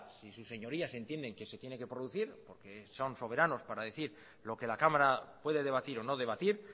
si sus señorías entienden que se tiene que producir porque son soberanos para decir lo que la cámara puede debatir o no debatir